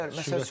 Yox, ola bilər.